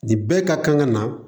Ni bɛɛ ka kan ka na